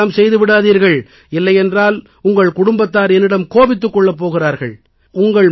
அப்படியெல்லாம் செய்து விடாதீர்கள் இல்லையென்றால் உங்கள் குடும்பத்தார் என்னிடம் கோபித்துக் கொள்ளப் போகிறார்கள்